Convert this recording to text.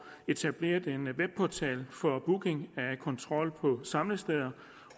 etableret en webportal for booking af kontrol på samlesteder